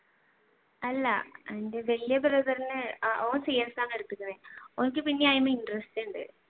അല്ല വലിയ brother ഓൻ cs ആണ് എടുത്തിക്കണേ ഓന്ക്ക് പിന്നെ അതിൽ interest ഉണ്ട്.